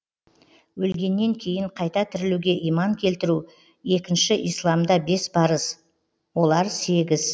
өлгеннен кейін қайта тірілуге иман келтіру екінші исламда бес парыз олар сегіз